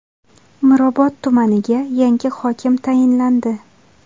Mirobod tumaniga yangi hokim tayinlandi.